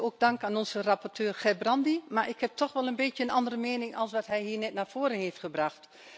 Ook dank aan onze rapporteur Gerbrandy, maar ik heb toch wel een beetje een andere mening dan wat hij hier net naar voren heeft gebracht.